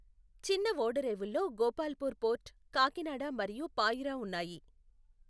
చిన్న ఓడరేవుల్లో గోపాల్పూర్ పోర్ట్, కాకినాడ మరియు పాయ్రా ఉన్నాయి.